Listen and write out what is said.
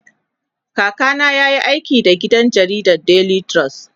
kaka na yayi aiki da gidan jaridan daily trust